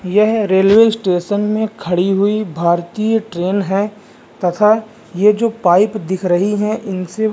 यह railway station में खड़ी हुई भारतीय ट्रेन हैं तथा ये जो पाइप दिख रही है इनसे --